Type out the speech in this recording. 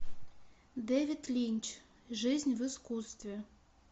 дэвид линч жизнь в искусстве